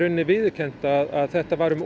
viðurkennt að þetta var um